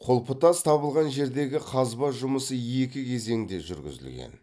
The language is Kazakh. құлпытас табылған жердегі қазба жұмысы екі кезеңде жүргізілген